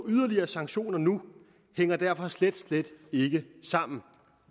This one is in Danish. yderligere sanktioner nu hænger derfor slet slet ikke sammen